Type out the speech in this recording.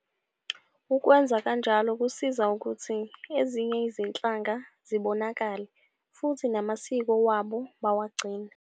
Ukwenza kanjalo kusiza ukuthi ezinye izinhlanga zibonakale futhi namasiko wabo bawa gcine.